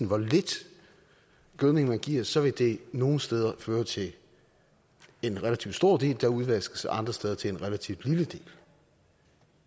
hvor lidt gødning man giver så vil det nogle steder føre til en relativt stor del der udvaskes og andre steder til en relativt lille del